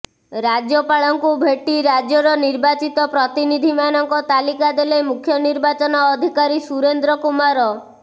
ରାଜ୍ୟପାଳଙ୍କୁ ଭେଟି ରାଜ୍ୟର ନିର୍ବାଚିତ ପ୍ରତିନିଧି ମାନଙ୍କ ତାଲିକା ଦେଲେ ମୁଖ୍ୟ ନିର୍ବାଚନ ଅଧିକାରୀ ସୁରେନ୍ଦ୍ର କୁମାର